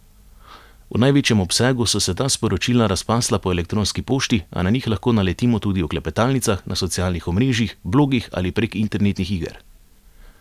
V največjem obsegu so se ta sporočila razpasla po elektronski pošti, a na njih lahko naletimo tudi v klepetalnicah, na socialnih omrežjih, blogih ali prek internetnih iger.